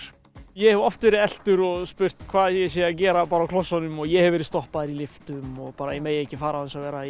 ég hef oft verið eltur og spurt hvað ég sé að gera bara á klossunum og ég hef verið stoppaður í lyftum og bara að ég megi ekki fara án þess að vera